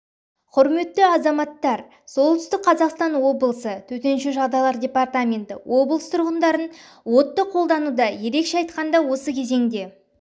құрметті азаматтар солтүстік қазақстан облысы төтенше жағдайлар департаменті облыс тұрғындарын отты қолдануда ерекше айтқанда осы кезеңде